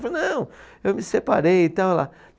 Eu falei, não, eu me separei e tal. Ela